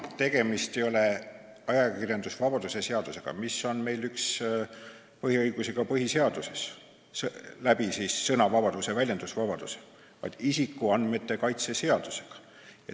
Tegemist ei ole ajakirjandusvabaduse seadusega – meil on põhiseaduses üks põhiõigusi ka sõna- ja väljendusvabadus –, vaid isikuandmete kaitse seadusega.